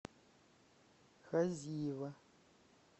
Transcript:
хазиева